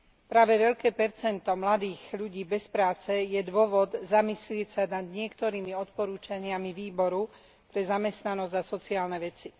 Práve veľké percento mladých ľudí bez práce je dôvod zamyslieť sa nad niektorými odporúčaniami Výboru pre zamestnanosť a sociálne veci.